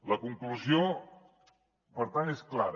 la conclusió per tant és clara